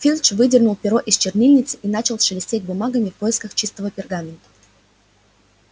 филч выдернул перо из чернильницы и начал шелестеть бумагами в поисках чистого пергамента